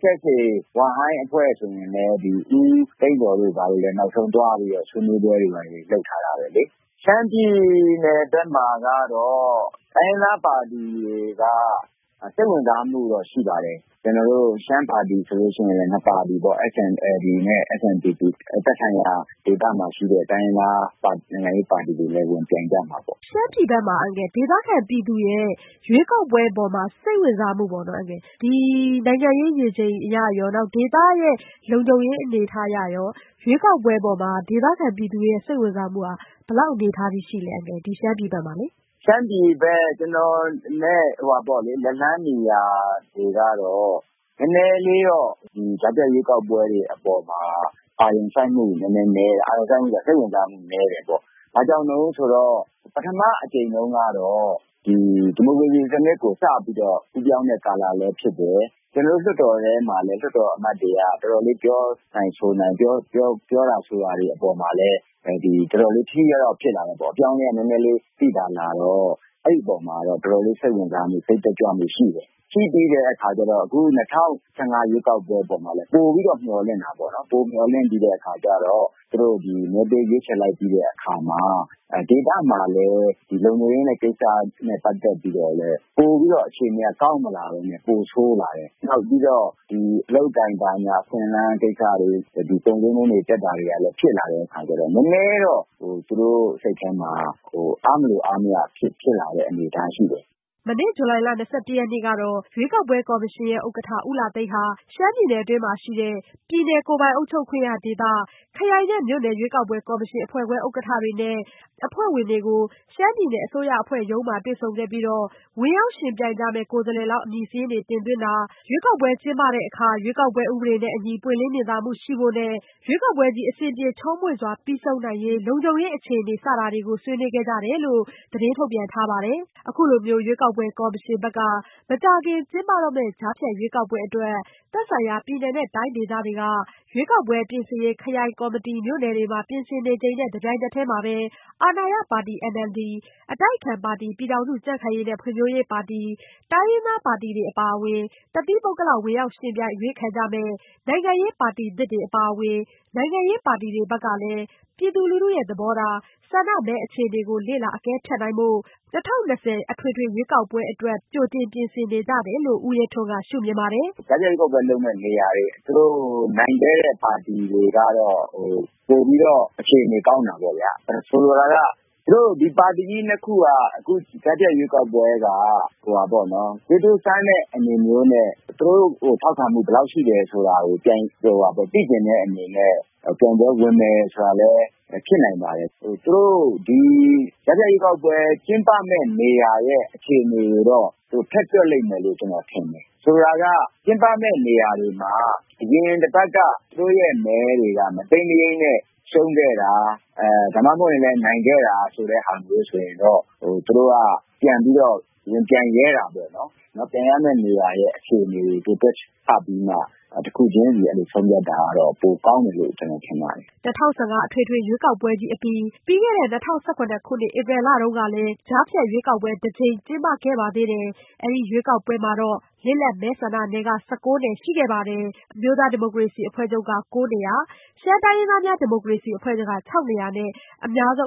SSA ဝမ်ဟိုင်းအဖွဲ့ဆိုရင်လည်း ဦးသိန်းဇော်တို့ဘာတို့သွားပြီးတော့ ဆွေးနွေးပွဲတွေလုပ်ထားတယ်လေ။ ရှမ်းပြည်နယ်ဘက်မှာကတော့ တိုင်းရင်းသားပါတီတွေကတော့ စိတ်ဝင်စားမှုတော့ရှိပါတယ်။ ကျနော်တို့ ရှမ်းပါတီကလည်း ၁ ပါတီပေါ့။ SNLD နဲ့ SNDP သက်ဆိုင်ရာဒေသမှာရှိတဲ့ နိုင်ငံရေးပါတီတွေလည်း ပြိုင်ကြမှာပေါ့။ မေး။ ။ ရှမ်းပြည်ဘယ်မှာ ဒေသခံပြည်သူတွေရဲ့ ရွေးကောက်ပွဲမှာ စိတ်ဝင်စားမှုပေါ့ ၊ နိုင်ငံရေးရည်ရွယ်ချက်အရရော၊ ဒေသလုံခြုံရေးအနေအထားအရရော ရွေးကောက်ပွဲအပေါ်မှာ ဒေသခံပြည်သူတွေရဲ့ စိတ်ဝင်စားမှုဘယ်လောက်အနေအထားအထိ ရှိလဲ။ ဦးရဲထွန်း။ ။ ရှမ်းပြည်ဘယ်မှာ ကျနော်တို့ လက်လှမ်းမီရာမှာတော့ နည်းနည်းလေးတော့ ကြားဖြတ်ရွေးကောက်ပွဲတွေအပေါ်မှာတော့ စိတ်ဝင်စားမှု နည်းတယ်ပေါ့။ ဘာကြောင့်လဲဆိုတော့ ပထမအကြိမ်တုန်းကတော့ ဒီမိုကရေစီစနစ်ကို စပြီးတော့ ကူးပြောင်းတဲ့ကာလလည်းဖြစ်တယ်။ ကျနော်တို့ လွှတ်တော်ထဲမှာလည်း လွှတ်တော်အမတ်တွေက သူတို့ တော်တော်လေးပြောတာဆိုတာတွေအပေါ်မှာလည်း ထိထိရောက်ရောက်ဖြစ်လာတယ်ပေါ့။ အပြောင်းအလဲက နည်းနည်းလေး သိသာလာတော့ အဲဒီအပေါ်မှာတော့ စိတ်ဝင်စားမှု စိတ်တက်ကြွမှုရှိတယ်။ ရှိပြီးတဲ့အခါကျတော့ အခု ၂၀၁၅ ရွေးကောက်ပွဲတုန်းကလည်း ပိုပြီးတော့ မျှော်လင့်တာပေါ့နော်။ မျှော်လင့်ပြီးတော့ သူတို့ မဲပေးရွေးချယ်လိုက်ပြီးတဲ့အခါမှာ ဒေသမှာလည်း လုံခြုံရေးနဲ့ ပတ်သက်တဲ့ ကိစ္စတွေမှာ ပိုပြီးတော့ အခြေအနေကတော့ ကောင်းမလာပဲနဲ့ ဆိုးလာတယ်။ နောက်ပြီးတော့ အလုပ်အကိုင်အခွင့်အလမ်းကိစ္စတွေ ၊ ကုန်ဈေးနှုန်းတွေတက်လာတဲ့ ကိစ္စတွေရှိတော့ နည်းနည်းတော့ သူတို့စိတ်ထဲမှာ အားမလိုအားမရဖြစ်လာတဲ့အနေအထားတွေရှိတယ်။" မနေ့ ဇူလိုင်လ ၂၁ရက်နေ့ကတော့ ရွေးကောက်ပွဲကော်မရှင်ဥက္ကဋ္ဌဦးလှသိန်းဟာ ရှမ်းပြည်နယ် အတွင်းရှိ ပြည်နယ်၊ ကိုယ်ပိုင်အုပ်ချုပ်ခွင့်ရဒေသ၊ ခရိုင်နှင့်မြို့နယ် ရွေးကောက်ပွဲ ကော်မရှင်အဖွဲ့ခွဲ ဥက္ကဋ္ဌတွေနဲ့ အဖွဲ့ဝင်တွေကို ရှမ်းပြည်နယ်အစိုးရအဖွဲ့ရုံးမှာတွေ့ဆုံခဲ့ပြီး ဝင်ရောက်ယှဉ်ပြိုင်မယ့် ကိုယ်စားလှယ်လောင်းအမည်စာရင်းတွေ တင်သွင်းတာ ရွေးကောက်ပွဲကျင်းပတဲ့အခါ ရွေးကောက်ပွဲဥပဒေနဲ့အညီ ပွင့်လင်းမြင်သာမှုရှိဖို့နဲ့ အဆင်ပြေချောမွေ့စွာပြီးဆုံးနိုင်ရေး လုံခြုံရေးအခြေအနေစတာတွေကို ဆွေးနွေးခဲ့ကြပါတယ်။ အခုလိုမျိုး ရွေးကောက်ပွဲကော်မရှင်ဘက်က မကြာခင်ကျင်းပတော့မယ် ကြားဖြတ်ရွေးကောက်ပွဲအတွက် သက်ဆိုင်ရာပြည်နယ်တိုင်းတွေက ရွေးကောက်ပွဲ ပြင်ဆင်ရေး ခရိုင်၊ မြို့နယ်တွေမှာ ပြင်ဆင်နေချိန်နဲ့တပြိုင်နက်တည်းမှာပဲ အာဏာရပါတီ NLD၊ အတိုက်အခံပါတီ ပြည်ထောင်စုကြံ့ခိုင်ရေးနဲ့ဖွံ့ဖြိုးရေးပါတီ၊ တိုင်းရင်းသားပါတီတွေအပါအဝင် တသီးပုဂ္ဂလဝင်ရောက်ယှဉ်ပြိုင်အရွေးခံကြမယ့် နိုင်ငံရေးပါတီသစ်တွေအပါအဝင် နိုင်ငံရေးပါတီတွေဘက်ကလည်း ပြည်သူလူထုရဲ့သဘောထား၊ ဆန္ဒမဲအခြေအနေကို လေ့လာအကဲနိုင်ရေး အထွေထွေ ရွေးကောက်ပွဲအတွက် ကြိုတင်ပြင်ဆင်နေကြတယ်လို့ လည်း ဦးရဲထွန်းက ရှု့မြင်ပါတယ်။ " ကြားဖြတ်ရွေးကောက်ပွဲလုပ်မယ့်နေရာတွေ သူတို့ နိုင်ခဲ့တဲ့ ပါတီတွေကတော့ ပိုပြီးတော့ အခြေနေကောင်းတာပေါ့။ ဆိုလိုတာက သူတို့ ပါတီကြီး ၂ ခုက အခုကြားဖြတ်ရွေးကောက်ပွဲက သူတို့စမ်းတဲ့အနေမျိုးနဲ့ သူတို့ကို ထောက်ခံမှုဘယ်လောက်ရှိသလဲဆိုတာကို သိချင်တဲ့အနေနဲ့ ပြိုင်ပွဲဝင်မယ်ဆိုတာလည်း ဖြစ်နိုင်ပါတယ်။ ကြားဖြတ်ရွေးကောက်ပွဲကျင်းပမယ့် နေရာရဲ့ အခြေအနေကိုတော့ ထည့်တွက်မယ်လို့ ကျနော်ထင်တယ်။ ဆိုလိုတာက ကျင်းပမယ့်နေရာတွေမှာ အရင်တပတ်က သူတို့မဲတွေက မတိမ်းမရိမ်းနဲ့ ရှုံးခဲ့တာ ၊ နိုင်ခဲ့တာဆိုတာမျိုးဆိုရင်တော့ သူတို့က ပြန်ပြီးတော့ ဝင်ပြိုင်တာပေါ့နော်။ ပြိုင်ရမယ့်နေရာရဲ့ အခြေအနေကိုသူတို့ တွက်ဆပြီးတော့ တခုချင်းဆုံးဖြတ်တာကတော့ ပိုကောင်းမယ် လို့ ကျနော်ထင်ပါတယ်။" ၂၀၁၅ အထွေထွေရွေးကောက်ပွဲကြီးအပြီး ပြီးခဲ့တဲ့ ၂၀၁၇ခုနှစ် ဧပြီလမှာလည်း ကြားဖြတ်ရွေးကောက်ပွဲ တကြိမ် ကျင်းပ ခဲ့ပါသေးတယ်။ အဲဒီရွေးကောက်ပွဲမှာတော့ လစ်လပ်မဲဆန္ဒနယ် ၁၉နယ်ရှိခဲ့ပြီး အမျိုးသားဒီမိုကရေစီ အဖွဲ့ချုပ် က ၉နေရာ၊ ရှမ်းတိုင်းရင်းသားများ ဒီမိုကရေစီအဖွဲ့ချုပ်က ၆နေရာနဲ့ အများဆုံး